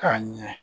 K'a ɲɛ